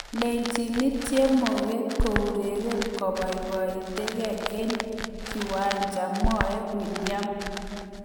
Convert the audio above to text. �Lechinet chemoget keureren kepaipaitke eng kiwancha� mwae Willian.